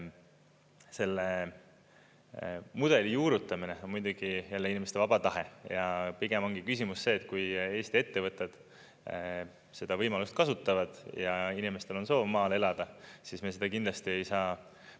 Selle mudeli juurutamine on muidugi jälle inimeste vaba tahe ja pigem ongi küsimus see, et kui Eesti ettevõtted seda võimalust kasutavad ja inimestel on soov maal elada, siis me seda kindlasti ei saa …